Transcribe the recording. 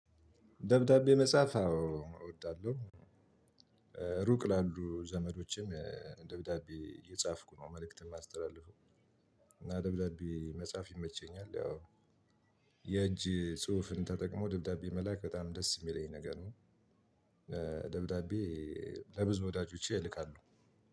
ደብዳቤ መጻፍ አዎ እወዳለሁ። ሩቅ ላሉ ዘመዶቼም ደብዳቤ እጻፍኩ ነው መልእክትን የማስተላልፈው። እና ደብዳቤ መጻፍ ይመቸኛል። ያው የእጅ ጽሁፍን ተጠቅሞ ደብዳቤ መላክ በጣም ደስ የሚለኝ ነገር ነው። ደብዳቤ ለብዙ ወዳጆቼ እልካለሁ።